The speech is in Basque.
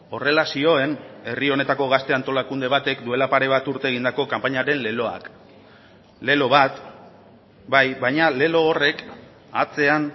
horrela zioen herri honetako gazte antolakunde batek duela pare bat urte egindako kanpainaren leloak lelo bat bai baina lelo horrek atzean